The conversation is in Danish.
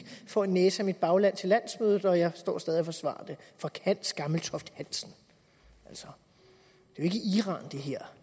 får en næse af mit bagland til landsmødet og står stadig væk og forsvarer det for hans gammeltoft hansen altså det her